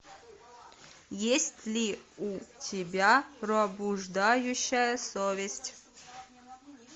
есть ли у тебя пробуждающая совесть